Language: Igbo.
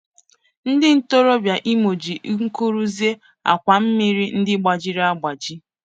Ndị ntorobịa Imo jiri nkụ rụzie àkwà mmiri ndị gbajiri agbaji.